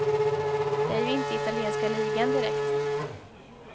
Det är ju inte italienska ligan direkt.